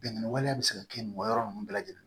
Bingani waleya bɛ se ka kɛ mɔgɔ ninnu bɛɛ lajɛlen